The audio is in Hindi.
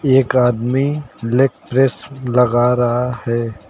एक आदमी लेग प्रेस लगा रहा है।